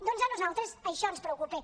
doncs a nosaltres això ens preocupa